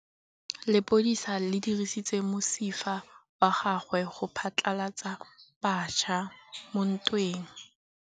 Lepodisa le dirisitse mosifa wa gagwe go phatlalatsa batšha mo ntweng.